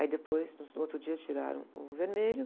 Aí depois, nos, no outro dia, tiraram o vermelho.